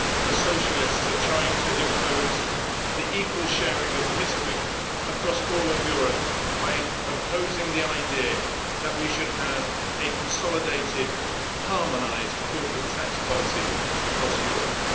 The Socialists are trying to impose the equal sharing of misery across all of Europe by imposing the idea that we should have a consolidated harmonised corporate tax policy across Europe.